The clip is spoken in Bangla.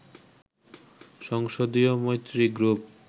সংসদীয় মৈত্রী গ্রুপ